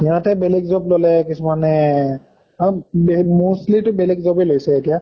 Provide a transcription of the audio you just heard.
সিহঁতে বেলেগ job ললে কিছুমানে আম বে mostly টো বেলেগ job য়ে লৈছে এতিয়া